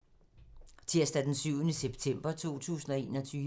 Tirsdag d. 7. september 2021